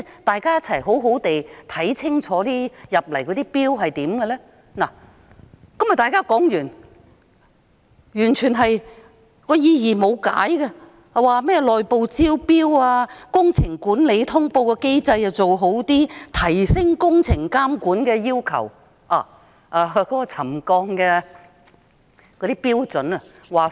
大家的討論到這裏便告一段落，但大家說到的甚麼改善內部招標、工程管理通報機制，提升工程監管的要求，卻完全沒有解釋。